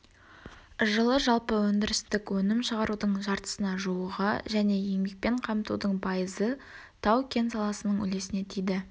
жылы жалпы өндірістік өнім шығарудың жартысына жуығы және еңбекпен қамтудың пайызы тау-кен саласының үлесіне тиді